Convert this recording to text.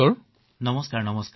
চিকিৎসক নমস্কাৰ নমস্কাৰ